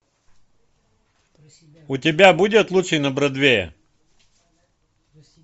у тебя будет лучший на бродвее